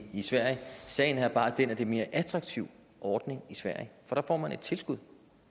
sverige sagen er bare den at det mere attraktiv ordning i sverige for der får man et tilskud